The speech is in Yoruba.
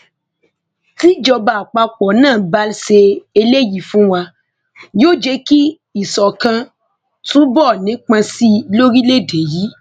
tíjọba àpapọ náà bá ṣe eléyìí fún wa yóò jẹ kí ìṣọkan túbọ nípọn sí i lórílẹèdè yìí